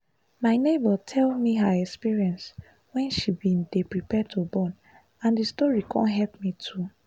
my neighbor tell me her experience wen she bin dey prepare to born and d story con help me too